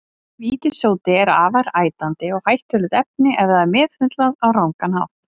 Vítissódi er afar ætandi og hættulegt efni ef það er meðhöndlað á rangan hátt.